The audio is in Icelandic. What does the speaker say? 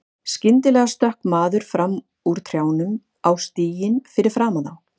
Skyndilega stökk maður fram úr trjánum á stíginn fyrir framan þá.